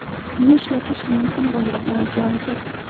Uni ishlatish mumkin bo‘lmagan joy yo‘q.